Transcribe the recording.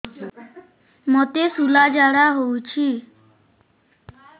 ମୋତେ ଶୂଳା ଝାଡ଼ା ହଉଚି